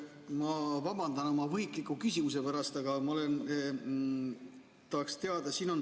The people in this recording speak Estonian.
Ma vabandan oma võhikliku küsimuse pärast, aga ma tahaks teada.